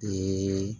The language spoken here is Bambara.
Ee